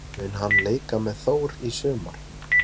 Mun hann leika með Þór í sumar?